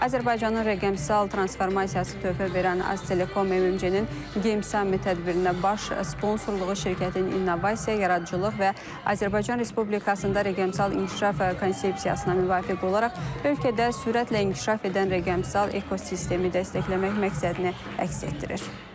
Azərbaycanın rəqəmsal transformasiyasına töhfə verən Aztelekom MMC-nin Game Summit tədbirinə baş sponsorluğu şirkətin innovasiya, yaradıcılıq və Azərbaycan Respublikasında rəqəmsal inkişaf konsepsiyasına müvafiq olaraq ölkədə sürətlə inkişaf edən rəqəmsal ekosistemi dəstəkləmək məqsədini əks etdirir.